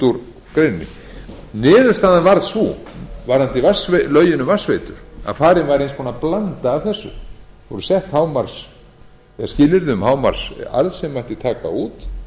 úr greininni niðurstaðan varð sú varðandi lögin um vatnsveitur að farin var eins konar blanda af þessu það voru sett skilyrði um hámarksarð sem mætti taka út